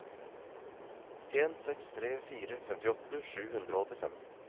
en seks tre fire femtiåtte sju hundre og åttifem